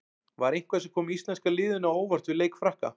Var eitthvað sem kom íslenska liðinu á óvart við leik Frakka?